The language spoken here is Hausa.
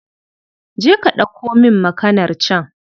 Je ka ɗauko min makanar can